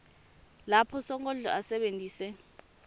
lapho sonkondlo asebentise